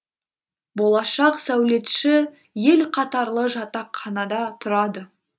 болашақ сәулетші ел қатарлы жатақханада тұрады